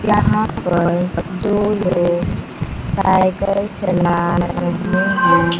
यहां पर दो लोग साइकल चला रहे हैं।